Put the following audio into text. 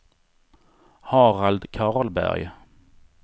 Harald Karlberg